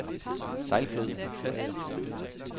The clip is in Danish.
Sejlflod